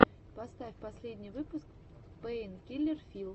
поставь последний выпуск пэйнкиллер филл